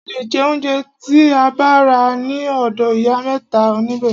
A le jẹ óunjẹ tí a bá rà ní ọ̀dọ̀ ìyá mẹ́ta nibẹ̀.